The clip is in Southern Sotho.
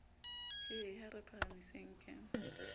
he ha re phahamiseng ke